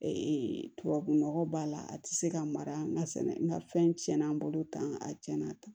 tubabunɔgɔ b'a la a ti se ka mara n ka sɛnɛ n ka fɛn tiɲɛna n bolo tan a cɛna tan